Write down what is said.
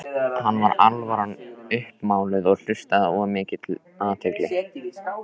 Hann var alvaran uppmáluð og hlustaði af mikilli athygli.